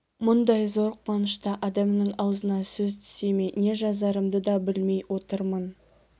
мұндай зор қуанышта адамның аузына сөз түсе ме не жазарымды да білмей отырмын